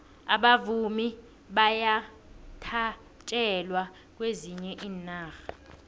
abavumi bayathatjelwa kwezinye iinarha